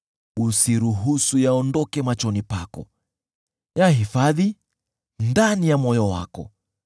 Usiruhusu yaondoke machoni pako, yahifadhi ndani ya moyo wako;